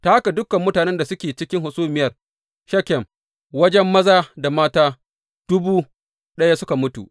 Ta haka dukan mutanen da suke cikin hasumiyar Shekem, wajen maza da mata dubu ɗaya suka mutu.